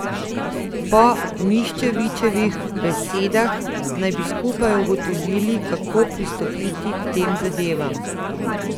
Po Miščevičevih besedah naj bi skupaj ugotovili, kako pristopiti k tem zadevam.